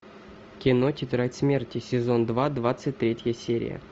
кино тетрадь смерти сезон два двадцать третья серия